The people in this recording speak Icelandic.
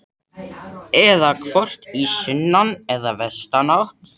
Eða hvort stefni í sunnan- eða vestanátt?